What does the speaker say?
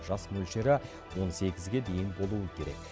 жас мөлшері он сегізге дейін болуы керек